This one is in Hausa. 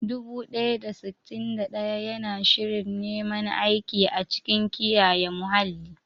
Dubu ɗaya da sittin da ɗaya yana shirin neman aiki a cikin kiyaye muhalli.